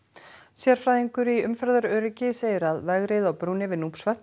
sérfræðingur í umferðaröryggi segir að vegrið á brúnni yfir